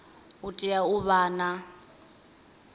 u tea u vha na